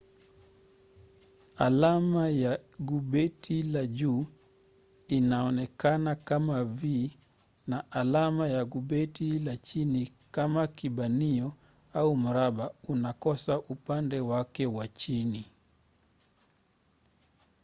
alama ya gubeti la juu inaonekana kama v na alama ya gubeti la chini kama kibanio au mraba unaokosa upande wake wa chini